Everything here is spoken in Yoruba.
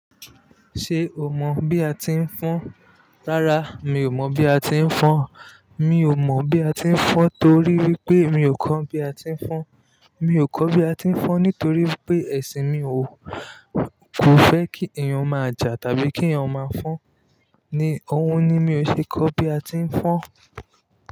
Ṣé o mọ bí a ti ń fọn? Rárá, mi ò mọ bí a ti ń fọn. Mi ò mọ bí a ti ń fọn torí wípé mi ò kọ́ bí a ti ń fọn. Mi ò kọ́ bí àti ń fọn nítorí wípé ẹ̀sìn mi o kò fẹ́ kí èyàn máa jà tàbí kí èyàn máa fọn ni ohun ni mi ò ṣe kọ́ bí a ti ń fọn.